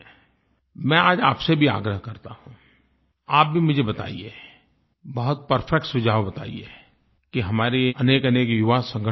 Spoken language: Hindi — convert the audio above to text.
मैं आज आपसे भी आग्रह करता हूँ आप भी मुझे बताइए बहुत परफेक्ट सुझाव बताइए कि हमारे अनेकअनेक युवा संगठन चलते हैं